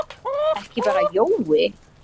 Ekki bara Jói.